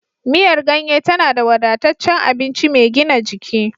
Miyar ganye tana da wadataccen abinci mai gina jiki.